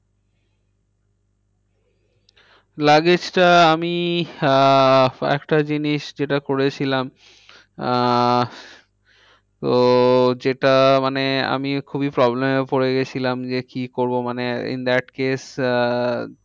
Luggage টা আমি আহ একটা জিনিস যেটা করেছিলাম আহ তো যেটা মানে আমি খুবই problem এ পরে গিয়েছিলাম যে কি করবো মানে in that case আহ